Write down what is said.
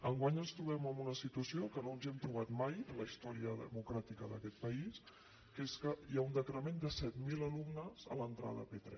enguany ens trobem en una situació que no ens hi hem trobat mai en la història democràtica d’aquest país que és que hi ha un decrement de set mil alumnes a l’entrada a p3